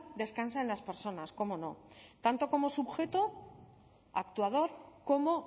descansa en las personas cómo no tanto como sujeto actuador como